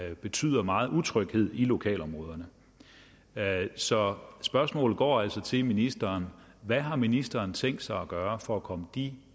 der betyder megen utryghed i lokalområderne så spørgsmålet går altså til ministeren hvad har ministeren tænkt sig at gøre for at komme de